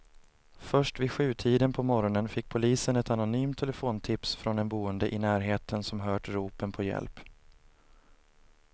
Först vid sjutiden på morgonen fick polisen ett anonymt telefontips från en boende i närheten som hört ropen på hjälp.